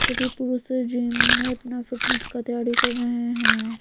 सभी पुरुष जिम में अपना फिटनेस का तैयारी कर रहे हैं।